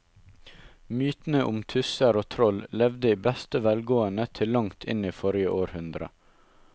Mytene om tusser og troll levde i beste velgående til langt inn i forrige århundre.